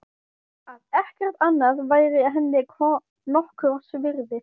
Að ekkert annað væri henni nokkurs virði.